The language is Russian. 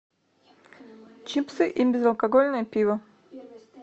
чипсы и безалкогольное пиво